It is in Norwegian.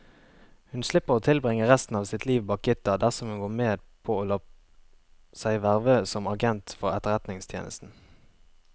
Hun slipper å tilbringe resten av sitt liv bak gitter dersom hun går med på å la seg verve som agent for etterretningstjenesten.